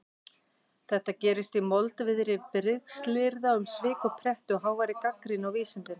Þetta gerist í moldviðri brigslyrða um svik og pretti og háværri gagnrýni á vísindin.